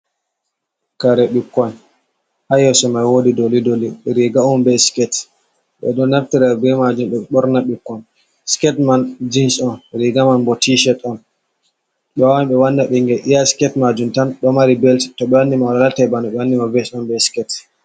Kare ɓikkon ha yeso mai wodi doli doli riga on bei skete, ɓe ɗo naftira be majum ɓe ɓorna ɓukkon, skete man jins on riga man bo ti shet on, ɓe wawan ɓe wanna ɓingel iya skete majum tan ɗo mari belt to ɓe wanni ma alatai bana ɓe wanni ma bet on be skete.